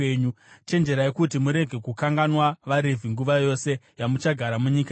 Chenjerai kuti murege kukanganwa vaRevhi nguva yose yamuchagara munyika yenyu.